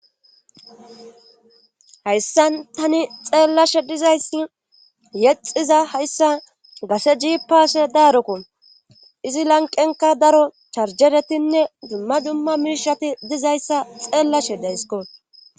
Hayssan tani xeellashe dizayssi yexiza hayssa gase jiipase daarokun izi lanqenka daro charjeretinne dumma dumma miishati dizayssa xeellashe daysiko